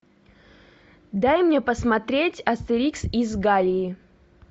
дай мне посмотреть астерикс из галлии